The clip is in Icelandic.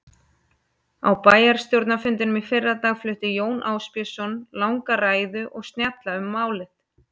Á bæjarstjórnarfundinum í fyrradag flutti Jón Ásbjörnsson langa ræðu og snjalla um málið.